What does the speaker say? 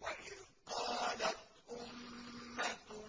وَإِذْ قَالَتْ أُمَّةٌ